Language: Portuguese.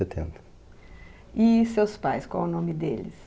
E seus pais, qual o nome deles?